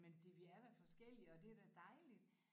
Men det vi er da forskellige og det da dejligt